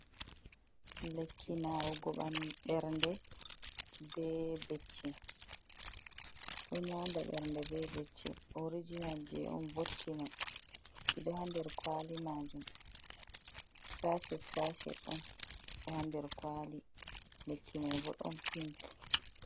Lekki nawu go bernɗe, ɓe becce. Ɗo yauɗa ɓanɗu, ɓe becce. Orijinal je on botki mai. Kiɗo ha nɗer kawali majum, sashe-sashe on. Ɗo ha nɗer kawali. Lekki mai bo ɗon piink.